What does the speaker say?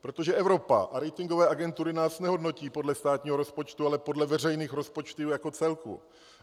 Protože Evropa a ratingové agentury nás nehodnotí podle státního rozpočtu, ale podle veřejných rozpočtů jako celku.